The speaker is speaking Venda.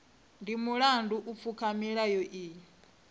ndi mulandu u pfuka milayo iyi